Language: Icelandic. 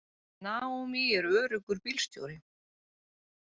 Naomi er öruggur bílstjóri.